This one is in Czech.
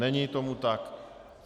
Není tomu tak.